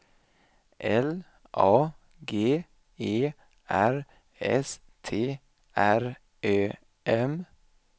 L A G E R S T R Ö M